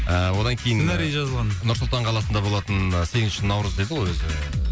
ыыы одан кейін сценарий жазылған нұр сұлтан қаласында болатын сегізінші наурыз деді ғой өзі